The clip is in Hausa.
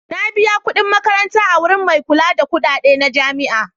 Na biya kuɗin makaranta a wurin mai kula da kuɗaɗe na jami'a.